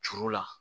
Juru la